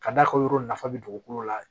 K'a d'a ka yɔrɔ nafa bɛ dugukolo la